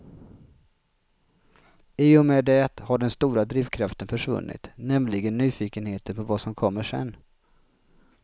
I och med det har den stora drivkraften försvunnit, nämligen nyfikenheten på vad som kommer sen.